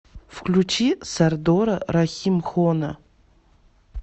включи сардора рахимхона